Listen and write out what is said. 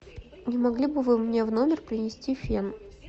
не могли бы вы мне в номер принести фен